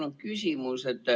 Mul on küsimus.